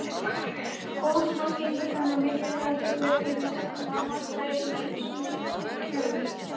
Osmósa gegnir þannig mikilvægu hlutverki við stjórnun á vatnsflæði í ýmsum lífkerfum.